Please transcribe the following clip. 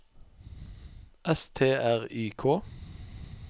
S T R Y K